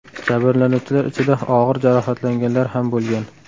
Jabrlanuvchilar ichida og‘ir jarohatlanganlar ham bo‘lgan.